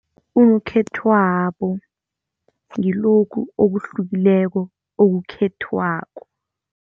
Unokhethwabo ngilokhu okuhlukileko okukhethwako.